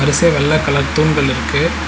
வரிசையா வெள்ள கலர் தூண்கள் இருக்கு.